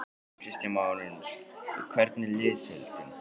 Kristján Már Unnarsson: Hvernig er liðsheildin?